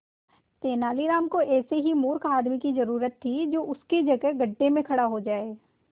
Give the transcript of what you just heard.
तेनालीराम को ऐसे ही मूर्ख आदमी की जरूरत थी जो उसकी जगह गड्ढे में खड़ा हो जाए